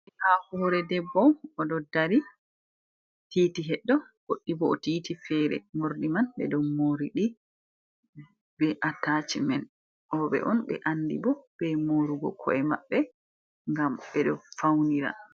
Murdi ha hure debbo odo dari titi heddo woddi bo o titi fere mordi man be do moridi be atace man obe on be andi bo be morugo ko’e mabbe gam bedo faunira